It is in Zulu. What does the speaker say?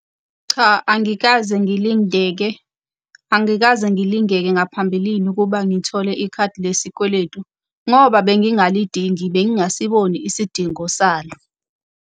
Cha angikaze ngilingeke, angikaze ngilingeke ngaphambilini ukuba ngithole ikhadi lesikweletu. Ngoba ebengingalidingi, bengingasiboni isidingo salo.